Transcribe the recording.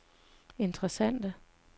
interessante